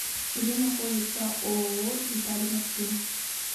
где находится ооо детали машин